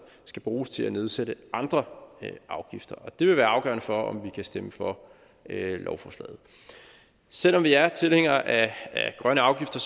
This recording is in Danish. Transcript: skal bruges til at nedsætte andre afgifter og det vil være afgørende for om vi kan stemme for lovforslaget selv om vi er tilhængere af grønne afgifter